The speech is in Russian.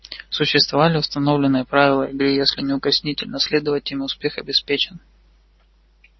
существовали установленные правила игры и если неукоснительно следовать им успех обеспечен